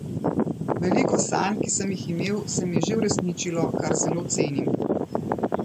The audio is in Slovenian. Veliko sanj, ki sem jih imel, se mi je že uresničilo, kar zelo cenim.